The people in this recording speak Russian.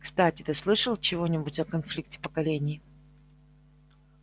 кстати ты слышал чего-нибудь о конфликте поколений